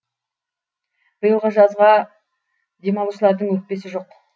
биылғы жазға демалушылардың өкпесі жоқ